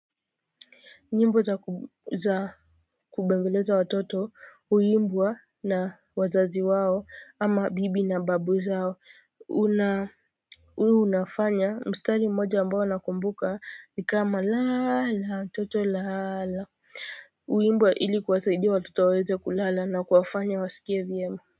Nyimbo za za kubembeleza watoto huimbwa na wazazi wao ama bibi na babu zao una huwa unafanya mstari mmoja ambao nakumbuka ni kama lala toto lala huimbwa ili kuwasaidia watoto waeze kulala na kuwafanya waskie vyema.